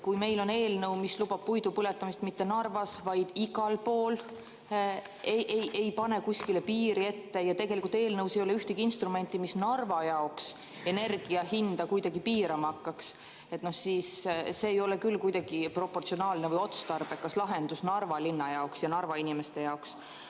Kui meil on eelnõu, mis lubab puidu põletamist mitte ainult Narvas, vaid igal pool, ei pane kuskile piiri ette, ja tegelikult eelnõus ei ole ühtegi instrumenti, mis Narva jaoks energia hinda kuidagi piirama hakkaks, siis see ei ole küll kuidagi proportsionaalne või otstarbekas lahendus Narva linna ja Narva inimeste jaoks.